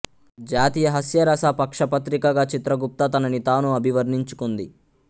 జాతీయ హాస్యరస పక్ష పత్రికగా చిత్రగుప్త తనని తాను అభివర్ణించుకుంది